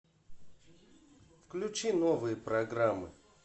включи новые программы